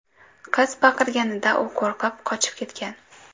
Qiz baqirganida u qo‘rqib, qochib ketgan.